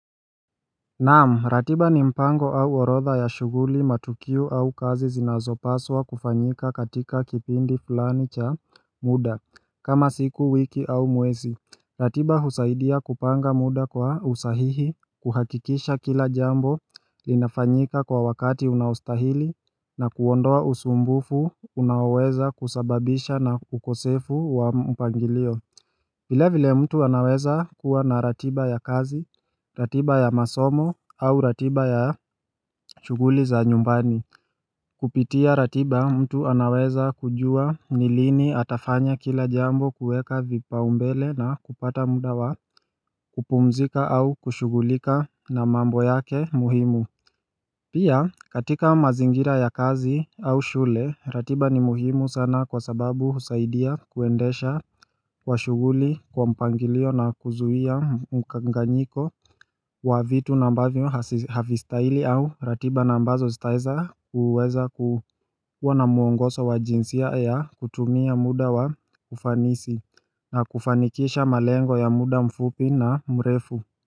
Naam ratiba ni mpango au orodha ya shuguli matukio au kazi zinazopaswa kufanyika katika kipindi fulani cha muda kama siku wiki au mwezi ratiba husaidia kupanga muda kwa usahihi kuhakikisha kila jambo linafanyika kwa wakati unaostahili na kuondoa usumbufu unaoweza kusababisha na ukosefu wa mpangilio vile vile mtu anaweza kuwa na ratiba ya kazi, ratiba ya masomo au ratiba ya shuguli za nyumbani Kupitia ratiba mtu anaweza kujua nilini atafanya kila jambo kueka vipau mbele na kupata mudawa kupumzika au kushugulika na mambo yake muhimu Pia katika mazingira ya kazi au shule ratiba ni muhimu sana kwa sababu husaidia kuendesha kwa shuguli kwa mpangilio na kuzuia mkanganyiko wa vitu na ambavyo havistahili au ratiba na mbazo sitaweza uweza kuwa na muongozo wa jinsia ya kutumia muda wa kufanisi na kufanikisha malengo ya muda mfupi na mrefu.